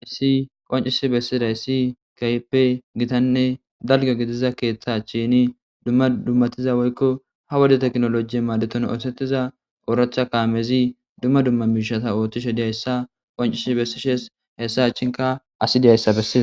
heesi qoncisi bessiday si kaype gitanne dalga gidiza keeththa achini duma dumatiza woykko ha wode teknolojiye maadeton oosetiza ooractha kaamezi duma duma miishata oottishe diyayssa qoncisi bessishes hessa achinka asi dizayssa besses.